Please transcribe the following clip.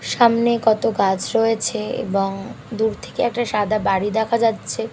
সামনে কত গাছ রয়েছে এবং দূর থেকে একটা সাদা বাড়ি দেখা যাচ্ছে ।